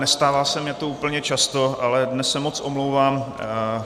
Nestává se mi to úplně často, ale dnes se moc omlouvám.